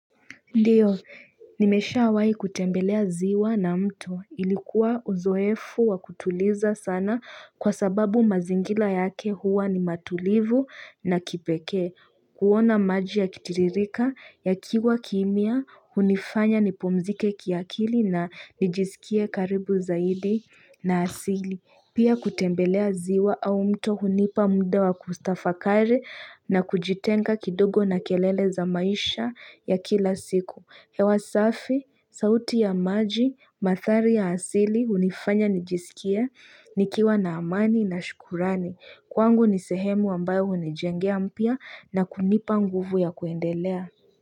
Ndiyo, nimesha wahi kutembelea ziwa na mto. Ilikuwa uzowefu wa kutuliza sana kwa sababu mazingira yake huwa ni matulivu na kipeke. Kuona maji ya kitiririka ya kiwa kimia, hunifanya nipumzike kiakili na nijisikie karibu zaidi na asili. Pia kutembelea ziwa au mto hunipa mda wa kutafakari na kujitenga kidogo na kelele za maisha ya kila siku. Hewa safi, sauti ya maji, mathari ya asili, hunifanya nijisikie, nikiwa na amani na shukurani. Kwangu nisehemu ambayo hunijengea mpya na kunipa nguvu ya kuendelea.